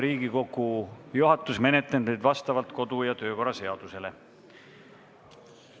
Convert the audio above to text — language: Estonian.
Riigikogu juhatus menetleb neid vastavalt kodu- ja töökorra seadusele.